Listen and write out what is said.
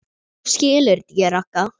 Þú skilur þetta ekki, Ragga.